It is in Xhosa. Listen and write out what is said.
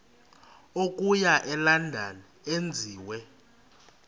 okuya elondon enziwe